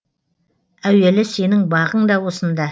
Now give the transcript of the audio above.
әуелі сенің бағың да осында